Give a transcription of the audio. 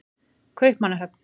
Kaupmannahöfn